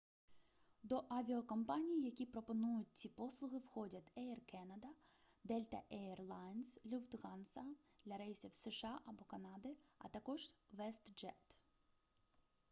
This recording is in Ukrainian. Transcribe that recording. до авіакомпаній які пропонують ці послуги входять еір канада дельта ейр лайнс люфтганза для рейсів з сша або канади а також вестджет